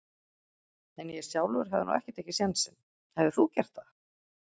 En ég sjálfur hefði nú ekki tekið sénsinn, hefðir þú gert það?